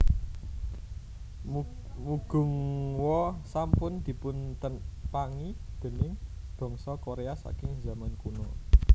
Mugunghwa sampun dipuntepangi déning bangsa Korea saking zaman kuno